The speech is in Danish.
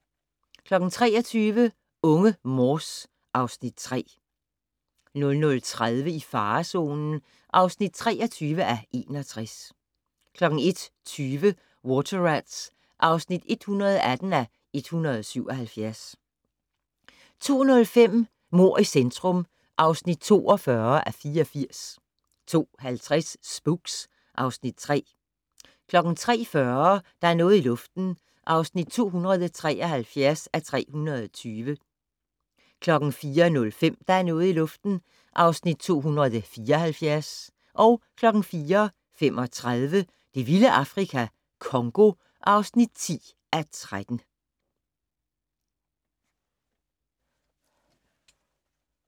23:00: Unge Morse (Afs. 3) 00:30: I farezonen (23:61) 01:20: Water Rats (118:177) 02:05: Mord i centrum (42:84) 02:50: Spooks (Afs. 3) 03:40: Der er noget i luften (273:320) 04:05: Der er noget i luften (274:320) 04:35: Det vilde Afrika - Congo (10:13)